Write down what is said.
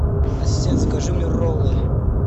ассистент закажи мне роллы